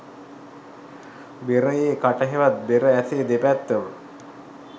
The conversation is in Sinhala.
බෙරයේ කට හෙවත් බෙර ඇසේ දෙපැත්තම